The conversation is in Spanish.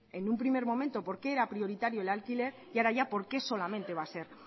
en un primer momento por qué era prioritario el alquiler y ahora ya por qué solamente va a ser